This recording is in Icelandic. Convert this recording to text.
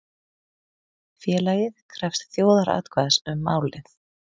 Félagið krefst þjóðaratkvæðis um málið